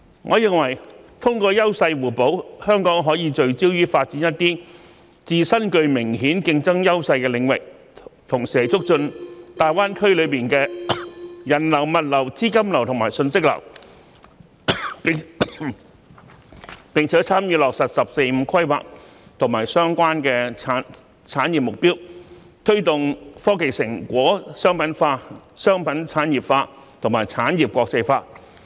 我認為，通過優勢互補，香港可以聚焦於發展一些自身具明顯競爭優勢的領域，同時促進大灣區內的人流、物流、資金流及信息流，並參與落實"十四五"規劃相關產業目標，推動科技成果商品化、商品產業化和產業國際化。